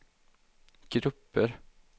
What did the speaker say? grupper